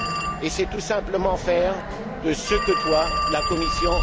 Et c'est tout simplement faire ce que doit la Commission